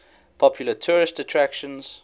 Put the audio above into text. popular tourist attractions